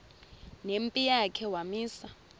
nempi yakhe wamisa